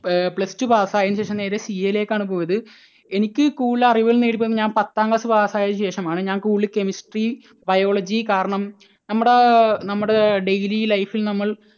Plus two pass ആയതിനുശേഷം നേരെ CA യിലേക്ക് ആണ് പോയത്. എനിക്ക് കൂടുതൽ അറിവുകൾ നേടി തന്നത് ഞാൻ പത്താം class pass ആയതിനുശേഷം ആണ്. ഞാൻ കൂടുതൽ Chemistry, Biology കാരണം നമ്മുടെ, നമ്മുടെ daily life ൽ നമ്മൾ